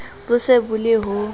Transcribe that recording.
bo se bo le ho